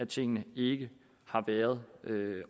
tingene ikke har været